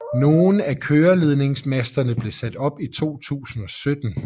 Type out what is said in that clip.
Nogle af køreledningsmasterne blev sat op i 2017